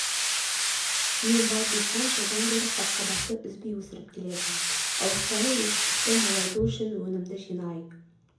дейін бар диқан жылдан бері қырыққабатты үзбей өсіріп келеді ауыспалы егістікті молайту үшін өнімді жинай